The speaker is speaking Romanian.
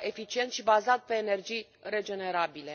eficient și bazat pe energii regenerabile.